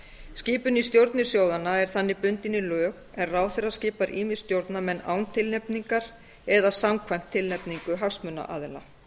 skipun í stjórnir sjóðanna er þannig bundin í lög en ráðherra skipar ýmist stjórnarmenn án tilnefningar eða samkvæmt tilnefningu hagsmunaaðila